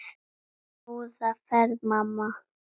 Góða ferð mamma.